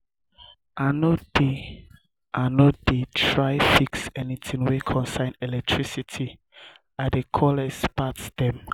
i no dey i no dey try fix anytin wey concern electricity i dey call expert dem.